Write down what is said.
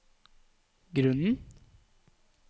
grunnen